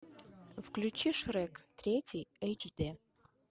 включи шрек третий эйч д